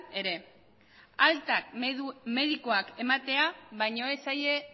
ere alta medikuak ematea baino ez zaie